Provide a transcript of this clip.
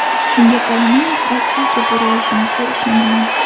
Shunga qaramay, Rossiyaga bora olishimizga ishonaman.